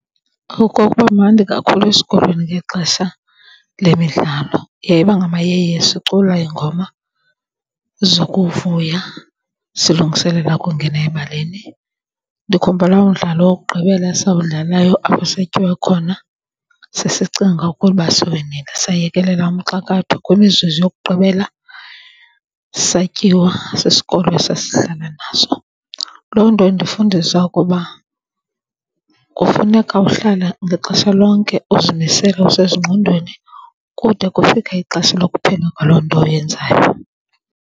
Kwakumandi kakhulu esikolweni ngexesha lemidlalo. Yayiba ngamayeyeye, sicula iingoma zokuvuya, silungiselela ukungena ebaleni. Ndikhumbula umdlalo wokugqibela esawudlalayo apho satyiwa khona sesicinga ukuba siwinile sayekelela umxakatho. Kwimizuzu yokugqibela satyiwa sisikolo esasidlala naso. Loo nto indifundisa ukuba kufuneka uhlale ngexesha lonke uzimisele, usezingqondweni kude kufike ixesha lokuphela kwaloo nto uyenzayo.